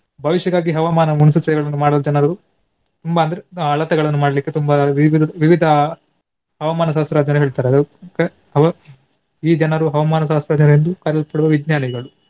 ಭವಿಷ್ಯಗಾಗಿ ಹವಾಮಾನ ಮುನ್ಸೂಚನೆಗಳನ್ನು ಮಾಡಲು ಜನರು ತುಂಬಾ ಅಂದ್ರೆ ಅಳತೆಗಳನ್ನು ಮಾಡ್ಲಿಕ್ಕೆ ತುಂಬಾ ವಿವಿ~ ವಿವಿಧ ಹವಾಮಾನ ಇಡ್ತಾರೆ ಅದು ಈ ಜನರು ಹವಾಮಾನ ಕರೆಯುತ್ತಿರುವ ವಿಜ್ಞಾನಿಗಳು.